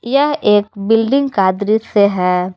यह एक बिल्डिंग का दृश्य है।